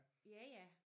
Ja ja